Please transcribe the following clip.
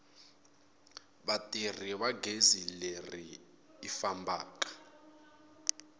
vatirhisi va gezi leri fambaka